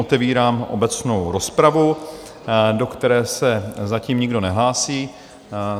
Otevírám obecnou rozpravu, do které se zatím nikdo nehlásí.